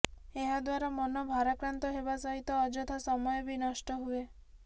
ଏହା ଦ୍ୱାରା ମନ ଭାରାକ୍ରାନ୍ତ ହେବା ସହିତ ଅଯଥା ସମୟ ବି ନଷ୍ଟହୁଏ